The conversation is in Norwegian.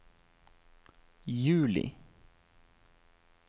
juli